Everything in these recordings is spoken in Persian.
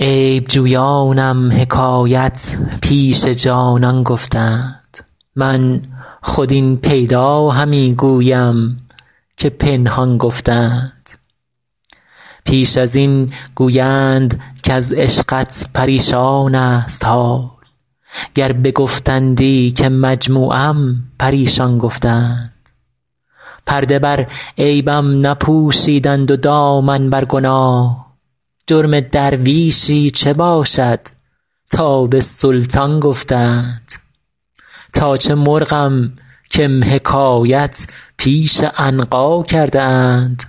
عیب جویانم حکایت پیش جانان گفته اند من خود این پیدا همی گویم که پنهان گفته اند پیش از این گویند کز عشقت پریشان ست حال گر بگفتندی که مجموعم پریشان گفته اند پرده بر عیبم نپوشیدند و دامن بر گناه جرم درویشی چه باشد تا به سلطان گفته اند تا چه مرغم کم حکایت پیش عنقا کرده اند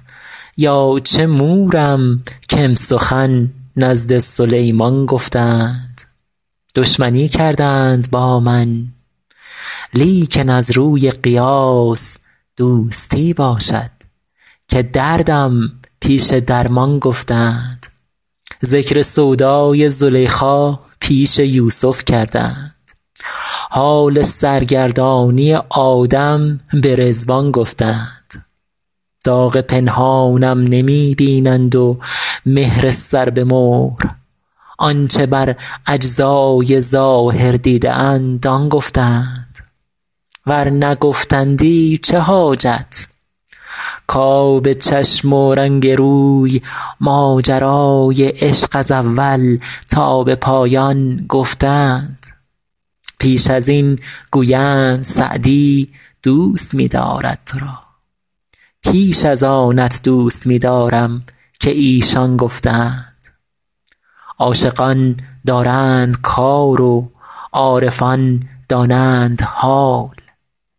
یا چه مورم کم سخن نزد سلیمان گفته اند دشمنی کردند با من لیکن از روی قیاس دوستی باشد که دردم پیش درمان گفته اند ذکر سودای زلیخا پیش یوسف کرده اند حال سرگردانی آدم به رضوان گفته اند داغ پنهانم نمی بینند و مهر سر به مهر آن چه بر اجزای ظاهر دیده اند آن گفته اند ور نگفتندی چه حاجت کآب چشم و رنگ روی ماجرای عشق از اول تا به پایان گفته اند پیش از این گویند سعدی دوست می دارد تو را بیش از آنت دوست می دارم که ایشان گفته اند عاشقان دارند کار و عارفان دانند حال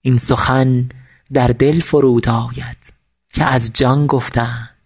این سخن در دل فرود آید که از جان گفته اند